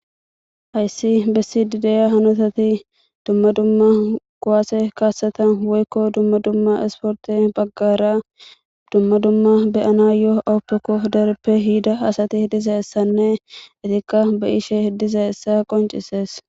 Hayssi bessi dideya hanotati dumma dumma guwaase kaaseta woykko dumma dumma esporti baggara dumma dumma beyana yoo oppekof dereppe hida asati diza essanne itikka beyishe diza essa qoncises.